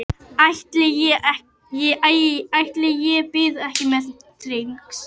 Ætli ég bíði ekki með trixin.